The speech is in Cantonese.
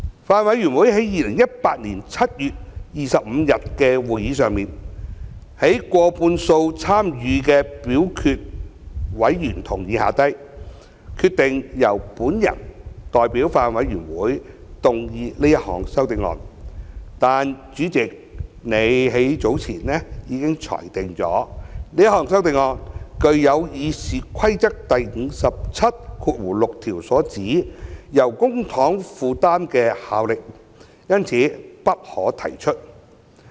法案委員會在2018年7月25日的會議上，在過半數參與表決的委員同意下，決定由我代表法案委員會動議這項修正案，但主席已於較早前裁定，由於這項修正案具有《議事規則》第576條所指由公帑負擔的效力，因此不可提出。